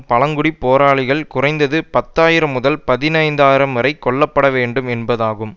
பழங்குடி போராளிகள் குறைந்தது பத்து ஆயிரம் முதல் பதினைந்து ஆயிரம் வரை கொல்லப்பட வேண்டும் என்பதாகும்